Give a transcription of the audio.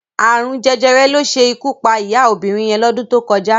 Arún Jẹjẹrẹ ló ṣé ikú pá iyá óbirin yẹn lọ́dún tó kọjá